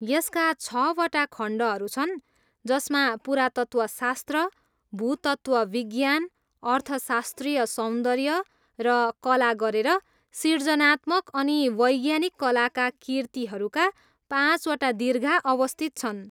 यसका छवटा खण्डहरू छन् जसमा पुरातत्त्वशास्त्र, भूतत्त्वविज्ञान, अर्थशास्त्रीय सौन्दर्य, र कला गरेर सिर्जनात्मक अनि वैज्ञानिक कलाका कीर्तिहरूका पाँचवटा दीर्घा अवस्थित छन्।